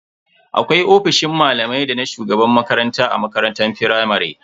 Akwai ofisoshin malamai dana shugaban makaranta a makarantar firamare.